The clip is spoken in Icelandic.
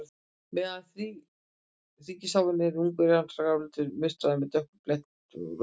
Meðan tígrisháfurinn er ungur er hann gráleitur og munstraður, með dökkum blettum og lóðréttum röndum.